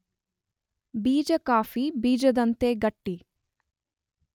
ಬೀಜ ಕಾಫಿ ಬೀಜದಂತೆ ಗಟ್ಟಿ.